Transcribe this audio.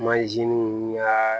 ya